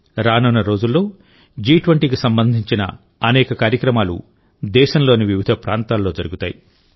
రానున్న రోజుల్లో జి20కి సంబంధించిన అనేక కార్యక్రమాలు దేశంలోని వివిధ ప్రాంతాల్లో జరుగుతాయి